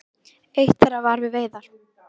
Eitt þeirra var við veiðar.